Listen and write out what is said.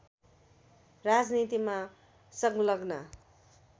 राजनीतिमा संलग्न